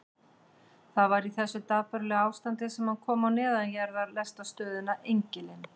Það var í þessu dapurlega ástandi sem hann kom á neðanjarðarlestarstöðina Engilinn.